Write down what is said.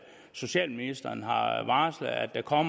socialministeren har har varslet at der kommer